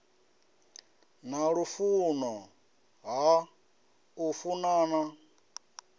na lufuno ha u funana